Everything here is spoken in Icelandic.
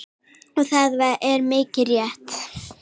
Og það er mikið rétt.